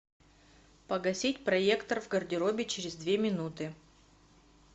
погасить проектор в гардеробе через две минуты